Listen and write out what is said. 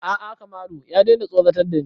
A'a Kamalu ya daina tsoratar da ni